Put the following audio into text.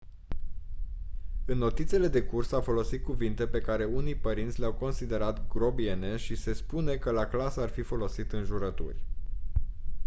în notițele de curs a folosit cuvinte pe care unii părinți le-au considerat grobiene și se spune că la clasă ar fi folosit înjurături